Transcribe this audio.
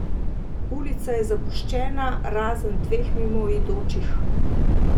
Ulica je zapuščena, razen dveh mimoidočih.